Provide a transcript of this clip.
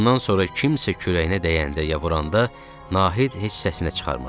Bundan sonra kimsə kürəyinə dəyəndə ya vuranda Nahid heç səsinə çıxarmırdı.